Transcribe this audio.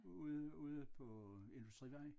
Ude ude på Industrivej